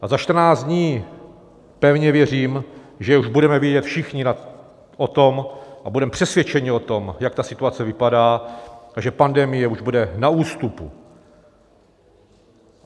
A za 14 dní, pevně věřím, že už budeme vědět všichni o tom a budeme přesvědčeni o tom, jak ta situace vypadá a že pandemie už bude na ústupu.